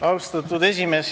Austatud esimees!